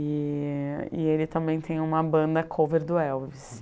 E e ele também tem uma banda cover do Elvis.